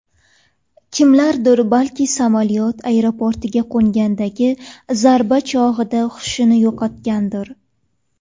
Kimlardir balki samolyot aeroportga qo‘ngandagi zarba chog‘ida hushini yo‘qotgandir.